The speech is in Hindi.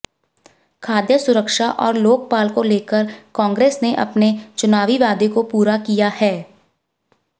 खाद्य सुरक्षा और लोकपाल को लेकर कांग्रेस ने अपने चुनावी वादे को पूरा किया है